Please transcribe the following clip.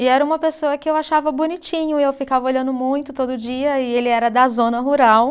E era uma pessoa que eu achava bonitinho e eu ficava olhando muito todo dia e ele era da zona rural.